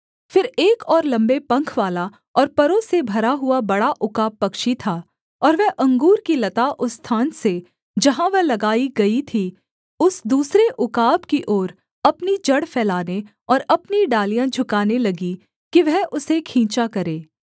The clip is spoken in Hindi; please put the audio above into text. फिर एक और लम्बे पंखवाला और परों से भरा हुआ बड़ा उकाब पक्षी था और वह अंगूर की लता उस स्थान से जहाँ वह लगाई गई थी उस दूसरे उकाब की ओर अपनी जड़ फैलाने और अपनी डालियाँ झुकाने लगी कि वह उसे खींचा करे